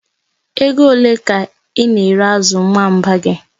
Ego ole ka ị na-ere azụ nwamba gị?